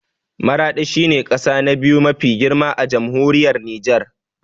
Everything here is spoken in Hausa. Maraɗi shi ne ƙasa na biyu mafi girma a Jamhuriyar Nijar